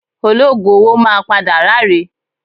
Ológùn owó máa padà ráre